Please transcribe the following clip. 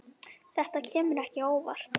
Þetta kemur ekki á óvart.